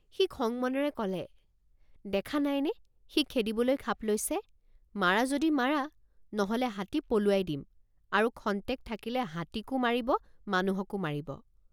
সি খং মনেৰে কলে দেখা নাইনে সি খেদিবলৈ খাপ লৈছে মাৰা যদি মাৰা নহলে হাতী পলুৱাই দিমআৰু খন্তেক থাকিলে হাতীকো মাৰিব মানুহকো মাৰিব।